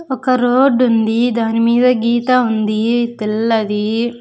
ఒక రోడ్ ఉంది దాని మీద గీత ఉంది తెల్లది.